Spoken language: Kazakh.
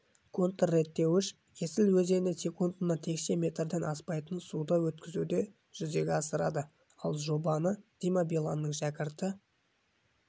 контрреттеуіш есіл өзеніне секундына текше метрден аспайтын суды өткізуді жүзеге асырады ал жобаны дима биланның шәкірті